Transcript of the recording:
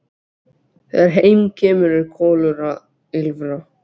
Þegar heim kemur er Kolur að ýlfra.